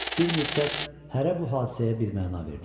Bir müddət hərə bu hadisəyə bir məna verdi.